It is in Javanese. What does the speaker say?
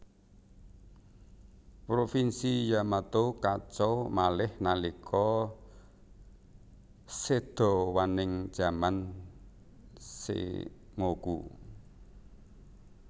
Provinsi Yamato kacau malih nalika sedawaning zaman Sengoku